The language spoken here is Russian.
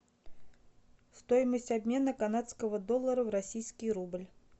стоимость обмена канадского доллара в российский рубль